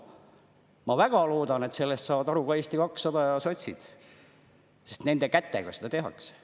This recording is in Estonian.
Ma väga loodan, et sellest saavad aru ka Eesti 200 ja sotsid, sest nende kätega seda tehakse.